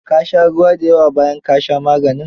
Ka sha ruwa da yawa bayan ka sha maganin